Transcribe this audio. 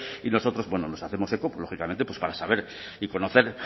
y nosotros nos hacemos eco lógicamente para saber y conocer